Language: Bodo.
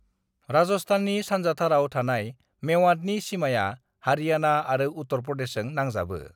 राजस्थाननि सानजाथाराव थानाय मेवातनि सीमाया हारियाणा आरो उत्तर प्रदेशजों नांजाबो।